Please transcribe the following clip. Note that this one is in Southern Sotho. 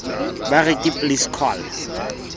ba re ke please call